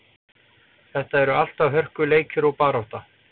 Þetta eru alltaf hörkuleikir og barátta.